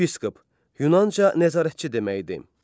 Yepiskop, Yunanca nəzarətçi deməkdir.